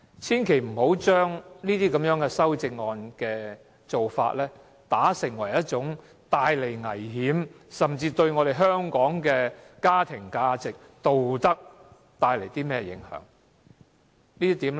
千萬不要把這些修正案的做法看成是帶來危險，甚至為香港的家庭價值和道德帶來影響。